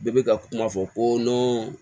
Bɛɛ bɛ ka kuma fɔ ko